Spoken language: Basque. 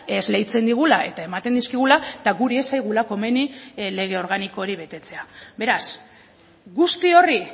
esleitzen digula eta ematen dizkigula eta guri ez zaigula komeni lege organiko hori betetzea beraz guzti horri